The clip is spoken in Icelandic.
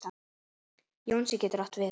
Jónsi getur átt við